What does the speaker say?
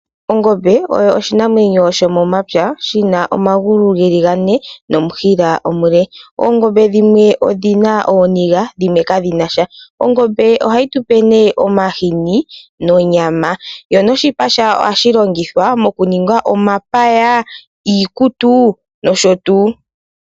Ongombe oyo oshinamwenyo shomomapya shina omagulu geli gane nomushila omule. Oongombe dhimwe odhina ooniga dhimwe kadhina ooniga, oongombe ohadhi tupe omahini nonyama yo noshipa shayo ohashi longihwa moku ninga omapaya, iikutu nosho tuu.